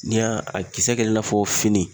N'i y'a a kisɛ kɛla i n'a fɔ fini